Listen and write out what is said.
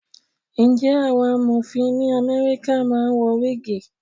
Ǹjẹ́ àwọn Amọ̀fin ní Amẹ́ríkà máa ń wọ wígìì?